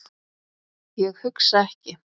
Ég hugsa ekki.